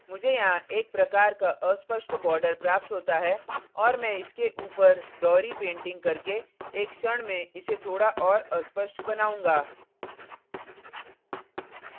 मुझे यहाँ एक प्रकार का अस्पष्ट fuzzy border प्राप्त होता है और मैं इसके ऊपर दोहरी painting करके एक क्षण में इसे थोड़ा और अस्पष्ट fuzzy बनाउंगा